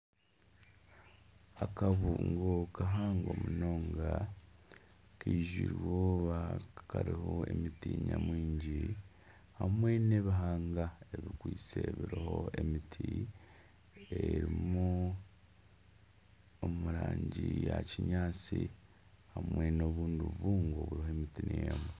Akabungo kahango munonga kariho emiti nyamwingi hamwe n'ebihanga ebiriho emiti eri omu rangi ya kinyaatsi hamwe n'obundi bubungo buriho emiti niyo emwe